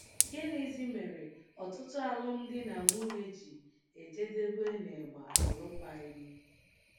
Gịnịzi mere ọtụtụ alụmdi na nwunye ji ejedebe n’ịgba alụkwaghịm?